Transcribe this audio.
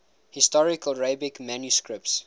historical arabic manuscripts